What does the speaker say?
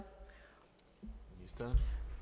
hvad